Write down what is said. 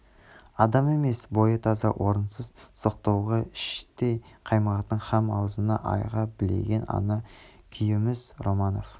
адам емес бойы таза орынсыз соқтығуға іштей қаймығатын һәм азуын айға білеген ана қумүйіз романов